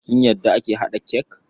Kin yadda ake haɗa cake?